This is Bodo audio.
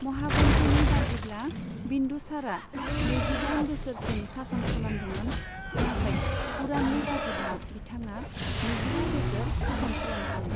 महावन्शनि बादिब्ला बिन्दुसारआ नैजिदाइन बोसोरसिम सासन खालामदोंमोन, नाथाय पुराणनि बादिब्ला बिथाङा नैजिबा बोसोर सासन खालामदोंमोन।